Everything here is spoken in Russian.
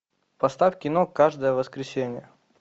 поставь кино каждое воскресенье